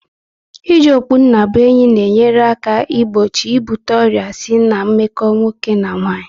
I ji okpunnabuenyi na enyere aka igbochi ibute ọrịa si na meko nwoke na nwaanyị